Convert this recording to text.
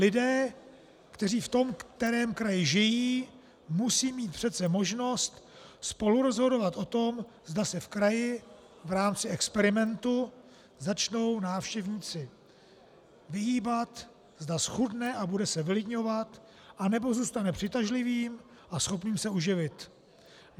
Lidé, kteří v tom kterém kraji žijí, musí mít přece možnost spolurozhodovat o tom, zda se v kraji v rámci experimentu začnou návštěvníci vyhýbat, zda zchudne a bude se vylidňovat, anebo zůstane přitažlivým a schopným se uživit.